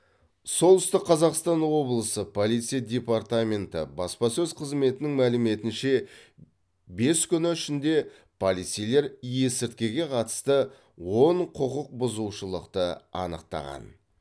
солтүстік қазақстан облысы полиция департаменті баспасөз қызметінің мәліметінше бес күні ішінде полицейлер есірткіге қатысты он құқық бұзушылықты анықтаған